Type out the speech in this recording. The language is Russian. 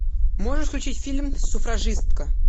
можешь включить фильм суфражистка